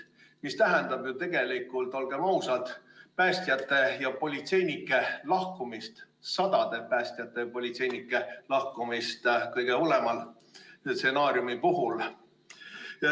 See tähendab ju tegelikult, olgem ausad, päästjate ja politseinike lahkumist – sadade päästjate ja politseinike lahkumist kõige hullema stsenaariumi puhul.